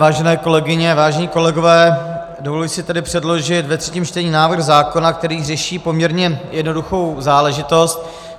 Vážené kolegyně, vážení kolegové, dovoluji si tedy předložit ve třetím čtení návrh zákona, který řeší poměrně jednoduchou záležitost.